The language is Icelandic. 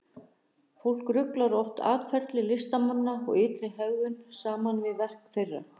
Fólk ruglar oft atferli listamanna og ytri hegðun saman við verk þeirra.